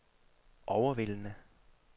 overvældende